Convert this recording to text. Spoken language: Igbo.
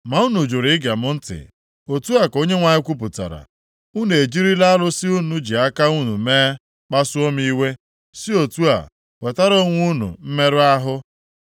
“Ma unu jụrụ ige m ntị,” otu a ka Onyenwe anyị kwupụtara. “Unu ejirila arụsị unu ji aka unu mee kpasuo m iwe, si otu a wetara onwe unu mmerụ ahụ.”